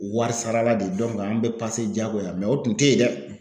Wari sarala de an bɛ jagoya mɛ o tun tɛ yen dɛ